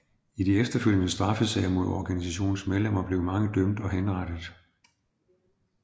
I de efterfølgende straffesager mod organisationens medlemmer blev mange dømt og henrettet